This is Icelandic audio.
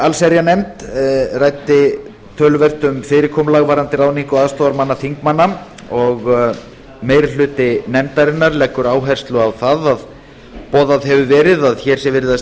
allsherjarnefnd ræddi töluvert um fyrirkomulag varðandi ráðningu aðstoðarmanna þingmanna og meiri hluti nefndarinnar leggur áherslu á það að boðað hefur verið að hér sé verið að